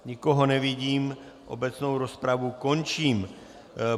Nikoho nevidím, obecnou rozpravu končím.